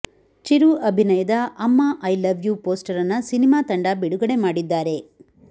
ಚಿರು ಅಭಿನಯದ Amma I love you ಪೋಸ್ಟರನ್ನ cinema ತಂಡ ಬಿಡುಗಡೆ ಮಾಡಿದ್ದಾರೆ